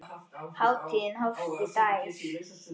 Hátíðin hófst í gær.